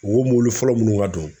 Wo mɔbili fɔlɔ minnu ka don